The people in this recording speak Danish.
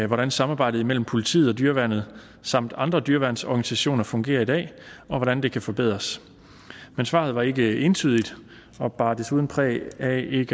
hvordan samarbejdet mellem politiet og dyreværnet samt andre dyreværnsorganisationer fungerer i dag og hvordan det kan forbedres men svaret var ikke entydigt og bar desuden præg af ikke